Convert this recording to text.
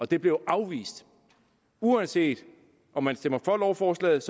det blev afvist uanset om man stemmer for lovforslaget